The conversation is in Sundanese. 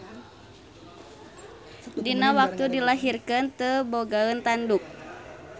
Dina waktu dilahirkeun teu bogaeun tanduk.